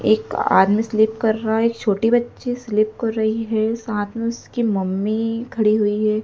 एक आदमी स्लिप कर रहा है एक छोटी बच्ची स्लिप कर रही है साथ में उसकी मम्मी खडी हुई है।